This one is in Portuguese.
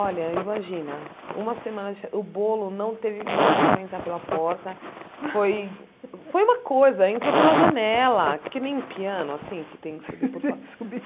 Olha, imagina, uma semana de fes, o bolo não teve não deu para entrar pela porta, foi foi uma coisa, entrou pela janela, que nem piano, assim, que tem que subir.